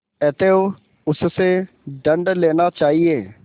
अतएव उससे दंड लेना चाहिए